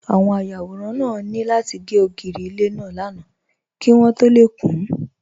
Àwọn ayàwòrán náà ní láti gé ògiri ilé náà lánàá kí wọ́n tó lè kún